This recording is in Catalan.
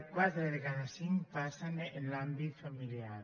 quatre de cada cinc passen en l’àmbit familiar